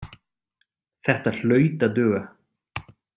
Þetta hlaut að duga.